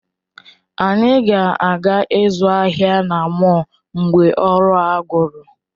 Anyị ga-aga ịzụ ahịa na mọl mgbe ọrụ a gwụrụ